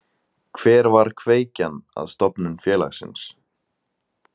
Hver var kveikjan að stofnun félagsins?